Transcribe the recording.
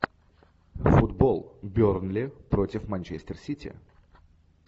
футбол бернли против манчестер сити